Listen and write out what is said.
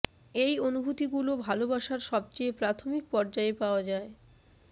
এই অনুভূতিগুলো ভালোবাসার সবচেয়ে প্রাথমিক পর্যায়ে পাওয়া যায়